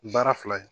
Baara fila ye